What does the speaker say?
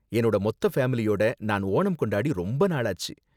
என்னோட மொத்த ஃபேமிலியோட நான் ஓணம் கொண்டாடி ரொம்ப நாளாச்சு.